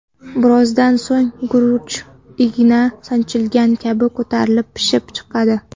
Birozdan so‘ng guruch igna sanchilgan kabi ko‘tarilib pishib chiqadi.